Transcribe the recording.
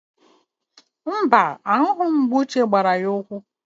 Mba, ahụghị m mgbe Uche gbara ya ụkwụ